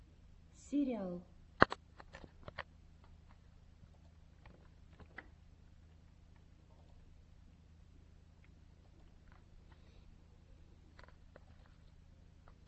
сириал